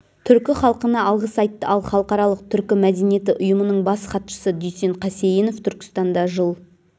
түркі халқына алғыс айтты ал халықаралық түркі мәдениеті ұйымының бас хатшысы дүйсен қасейінов түркістанда жыл